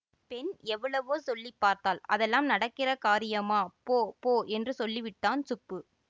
பெண் எவ்வளவோ சொல்லி பார்த்தாள் அதெல்லாம் நடக்கிற காரியமா போ போ என்று சொல்லிவிட்டான் சுப்பு